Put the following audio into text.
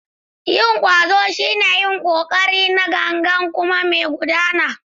Yin ƙwazo shine yin ƙoƙari na gangan kuma mai gudana.